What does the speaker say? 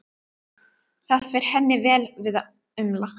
Það fer henni vel að umla.